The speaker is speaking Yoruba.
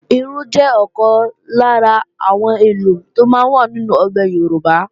Irú jẹ́ ọ̀kan lára àwọn èlò tó máa ń wà nínú àwọn ọbẹ̀ Yorùbá